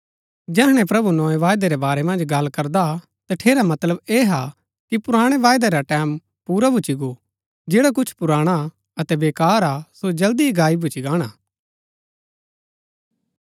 जैहणै प्रभु नोआ वायदै रै बारै मन्ज गल्ल करदा हा तठेरा मतलब ऐह हा कि पुराणा वायदै रा टैमं पुरा भूच्ची गो जैड़ा कुछ पुराणा अतै वेकार हा सो जल्दी ही गायब भूच्ची गाणा हा